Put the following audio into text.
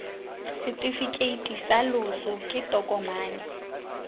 setefikeiti sa loso ke tokomane